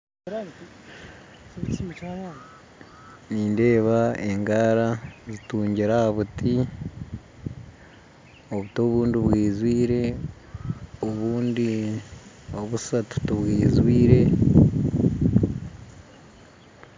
Nindeeba engaara zitungyire ahabuti obuti obundi bwijjwire obundi obussatu tibwizwire